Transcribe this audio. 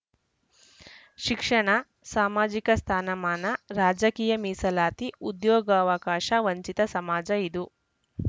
ಶಿಕ್ಷಣ ಸಾಮಾಜಿಕ ಸ್ಥಾನಮಾನ ರಾಜಕೀಯ ಮೀಸಲಾತಿ ಉದ್ಯೋಗಾವಕಾಶ ವಂಚಿತ ಸಮಾಜ ಇದು